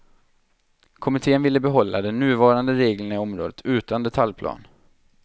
Kommittén ville behålla de nuvarande reglerna i områdena utan detaljplan.